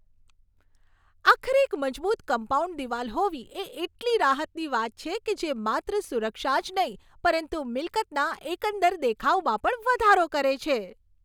આખરે એક મજબૂત કમ્પાઉન્ડ દિવાલ હોવી એ એટલી રાહતની વાત છે કે જે માત્ર સુરક્ષા જ નહીં પરંતુ મિલકતના એકંદર દેખાવમાં પણ વધારો કરે છે.